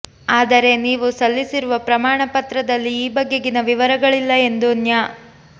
ಆದರೆ ನೀವು ಸಲ್ಲಿಸಿರುವ ಪ್ರಮಾಣ ಪತ್ರದಲ್ಲಿ ಈ ಬಗೆಗಿನ ವಿವರಗಳಿಲ್ಲ ಎಂದು ನ್ಯಾ